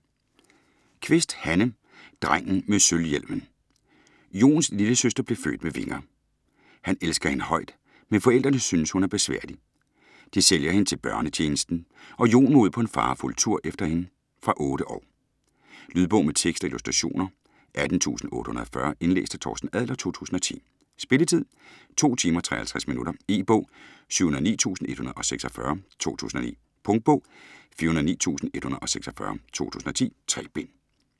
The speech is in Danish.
Kvist, Hanne: Drengen med sølvhjelmen Jons lillesøster blev født med vinger. Han elsker hende højt, men forældrene synes hun er besværlig. De sælger hende til Børnetjenesten, og Jon må ud på en farefuld tur efter hende. Fra 8 år. Lydbog med tekst og illustrationer 18840 Indlæst af Torsten Adler, 2010. Spilletid: 2 timer, 53 minutter. E-bog 709146 2009. Punktbog 409146 2010. 3 bind.